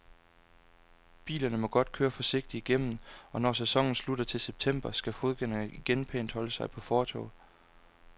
Bilerne må godt køre forsigtigt igennem, og når sæsonen slutter til september, skal fodgængerne igen pænt holde sig på fortovet.